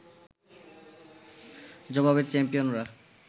জবাবে চ্যাম্পিয়নরা